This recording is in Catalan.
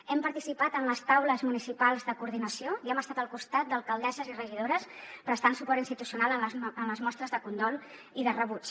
hem participat en les taules municipals de coordinació i hem estat al costat d’alcaldesses i regidores prestant suport institucional en les mostres de condol i de rebuig